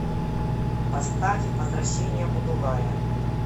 поставь возвращение будулая